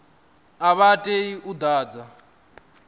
a vha tei u ḓadza